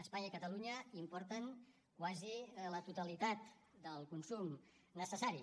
espanya i catalunya importen quasi la totalitat del consum necessari